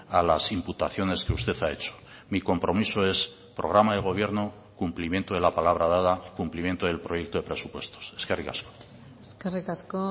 a las imputaciones que usted ha hecho mi compromiso es programa de gobierno cumplimiento de la palabra dada cumplimiento del proyecto de presupuestos eskerrik asko eskerrik asko